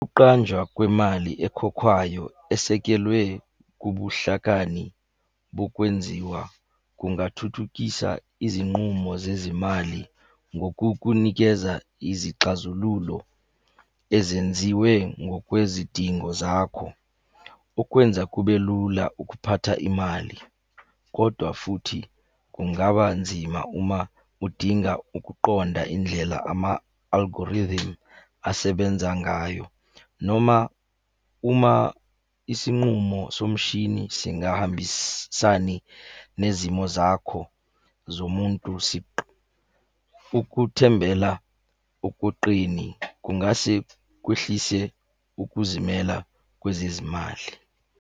Ukuqanjwa kwemali ekhokhwayo esekelwe kubuhlakani bokwenziwa kungathuthukisa izinqumo zezimali ngokukunikeza izixazululo ezenziwe ngokwezidingo zakho. Okwenza kube lula ukuphatha imali, kodwa futhi kungaba nzima uma udinga ukuqonda indlela ama-algorithm asebenza ngayo, noma uma isinqumo somushini singahambisani nezimo zakho zomuntu siqu. Ukuthembela okuqini kungase kwehlise ukuzimela kwezezimali.